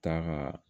Ta ka